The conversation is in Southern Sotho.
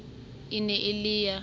e ne e le ya